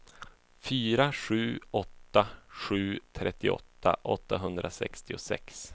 fyra sju åtta sju trettioåtta åttahundrasextiosex